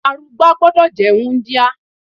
Arugbá gbúdọ̀ jẹ́ wúńdíá.